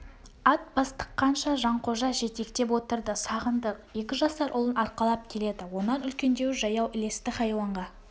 ат бастыққанша жанқожа жетектеп отырды сағындық екі жасар ұлын арқалап келеді онан үлкендеуі жаяу ілесті хайуанға